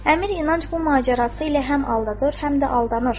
Əmir inanc bu macərası ilə həm aldadır, həm də aldanır.